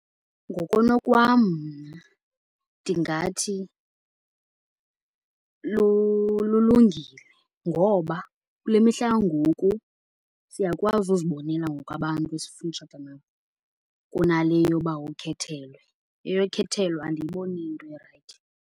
Ngokonokwam mna ndingathi lulungile ngoba kule mihla yangoku siyakwazi uzibonela ngoku abantu esifuna utshata nabo kunale yoba ukhethelwe. Eyokhethelwa andiyiboni iyinto erayithi.